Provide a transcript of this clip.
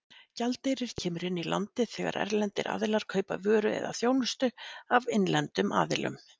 Gjaldeyrir kemur inn í landið þegar erlendir aðilar kaupa vöru eða þjónustu af innlendum aðilum.